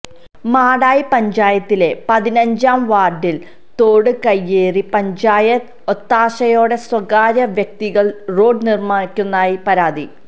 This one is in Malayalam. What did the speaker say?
മാടായി പഞ്ചായത്തിലെ പതിനഞ്ചാം വാര്ഡില് തോട് കയ്യേറി പഞ്ചായത്ത് ഒത്താശയോടെ സ്വകാര്യ വ്യക്തികള് റോഡ് നിര്മ്മിക്കുന്നതായി പരാതി